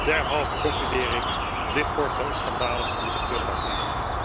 Derhalve concludeer ik dit voorstel is schandalig en moet de prullenbak in.